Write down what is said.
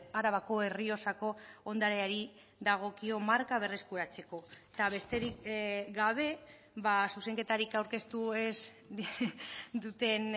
arabako errioxako ondareari dagokio marka berreskuratzeko eta besterik gabe zuzenketarik aurkeztu ez duten